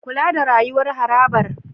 Kula da rayuwar harabar